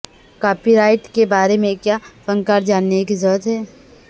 copy right کے بارے میں کیا فنکار جاننے کی ضرورت ہے